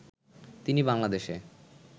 তিনি বাংলাদেশে